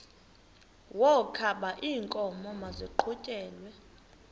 wokaba iinkomo maziqhutyelwe